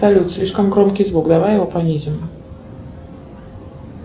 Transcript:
салют слишком громкий звук давай его понизим